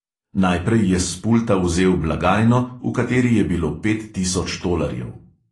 Najprej je s pulta vzel blagajno, v kateri je bilo pet tisoč tolarjev.